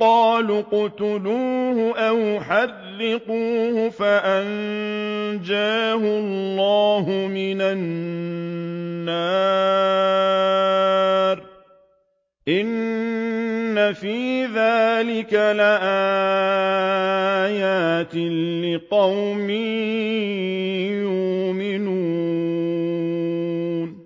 قَالُوا اقْتُلُوهُ أَوْ حَرِّقُوهُ فَأَنجَاهُ اللَّهُ مِنَ النَّارِ ۚ إِنَّ فِي ذَٰلِكَ لَآيَاتٍ لِّقَوْمٍ يُؤْمِنُونَ